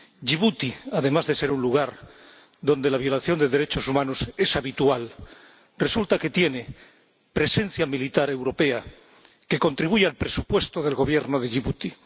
Yibuti, además de ser un lugar donde la violación de derechos humanos es habitual, resulta que tiene presencia militar europea que contribuye al presupuesto del Gobierno de Yibuti.